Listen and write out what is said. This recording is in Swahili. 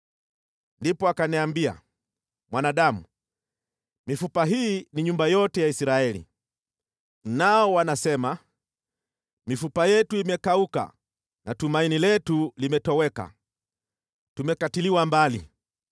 Ndipo akaniambia: “Mwanadamu, mifupa hii ni nyumba yote ya Israeli. Nao wanasema, ‘Mifupa yetu imekauka na tumaini letu limetoweka, tumekatiliwa mbali.’